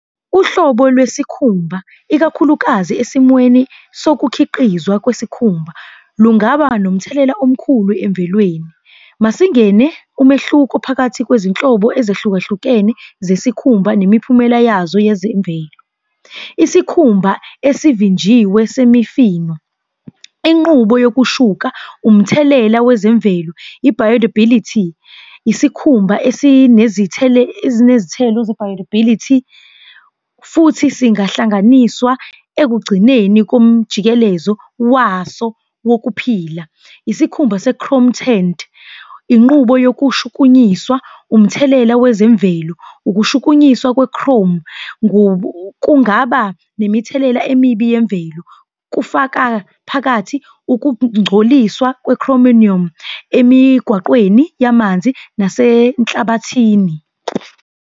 Uhlobo lesikhumba, ikakhulukazi esimweni sokukhiqizwa kwesikhumba, lungaba nomthelela omkhulu emvelweni. Masingena kumehluko phakathi kwezinhlobo ezahlukahlukene zesikhumba nemiphumela yazo yezemvelo. Isikhumba esivinjiwe semifino, inqubo yokushuka, umthelela wezemvelo, , isikhumba , futhi singahlanganiswa ekugcineni komjikelezo waso wokuphila. Isikhumba se-chrome tint, inqubo yokushukunyiswa, umthelela wezemvelo, ukushukunyiswa kwe-chrome kungaba nemithelela emibi yemvelo, kufaka phakathi ukungcoliswa chromium emigwaqweni yamanzi nasenhlabathini.